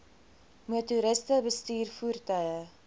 motoriste bestuur voertuie